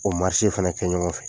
O marise fana kɛ ɲɔgɔn fɛ